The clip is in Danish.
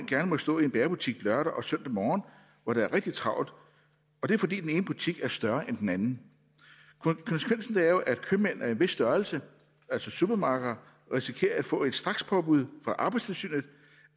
gerne må stå i en bagerbutik lørdag og søndag morgen hvor der er rigtig travlt og det er fordi den ene butik er større end den anden konsekvensen af det er jo at købmænd af en vis størrelse altså supermarkeder risikerer at få et strakspåbud fra arbejdstilsynet